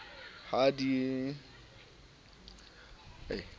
ha di sa le yo